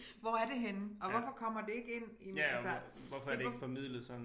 Hvor er det henne og hvorfor kommer det ikke ind i altså det